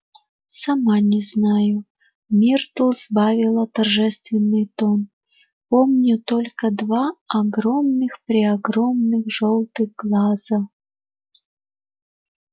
сама не знаю миртл сбавила торжественный тон помню только два огромных-преогромных жёлтых глаза